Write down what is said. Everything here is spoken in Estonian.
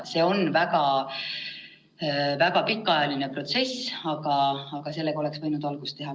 See on väga pikaajaline protsess, aga sellega oleks võinud küll algust teha.